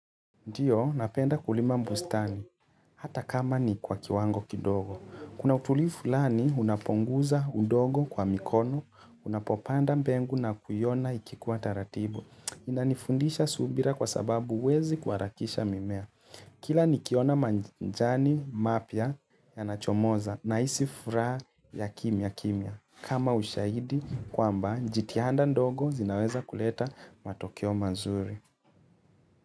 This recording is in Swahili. Ndio, napenda kulima bustani, hata kama ni kwa kiwango kidogo. Kuna utulivu lani unapoguza ndogo kwa mikono, unapopanda mbegu na kuiona ikikuwa taratibu. Inanifundisha subira kwa sababu huwezi kuharakisha mimea. Kila nikiona majani mapya yanachomoza, nahisi furaha ya kimya kimya. Kama ushaidi kwamba jitihanda ndogo zinaweza kuleta matokeo mazuri.